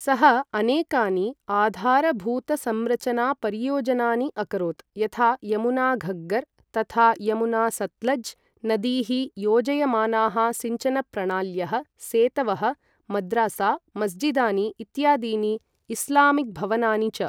सः अनेकानि आधारभूतसंरचनापरियोजनानि अकरोत्, यथा यमुना घग्गर् तथा यमुना सत्लज् नदीः योजयमानाः सिञ्चनप्रणाल्यः, सेतवः, मद्रासा, मस्जिदानि इत्यादीनि इस्लामिक् भवनानि च।